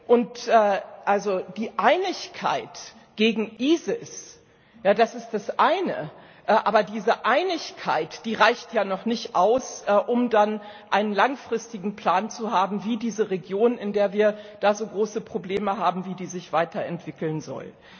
Und die Einigkeit gegen ISIS das ist das eine aber diese Einigkeit, die reicht ja noch nicht aus, um dann einen langfristigen Plan zu haben, wie diese Region, in der wir da so große Probleme haben, sich weiter entwickeln soll.